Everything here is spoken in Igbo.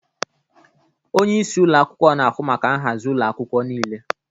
Onye isi ụlọ akwụkwọ na-ahụ maka nhazi ụlọ akwụkwọ niile.